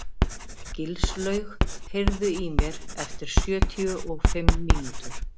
Gilslaug, heyrðu í mér eftir sjötíu og fimm mínútur.